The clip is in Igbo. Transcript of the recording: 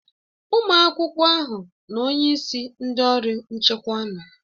Ụmụ akwụkwọ ahụ na onyeisi ndị ọrụ nchekwa nọ.